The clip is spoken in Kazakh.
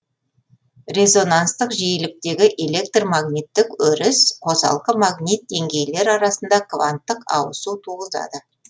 резонанстық жиіліктегі электр магниттік өріс қосалқы магнит деңгейлер арасында кванттық ауысу туғызады